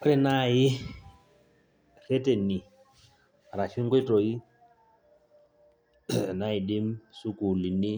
Ore naai rrereni ashu nkoitoi naidim sukuulini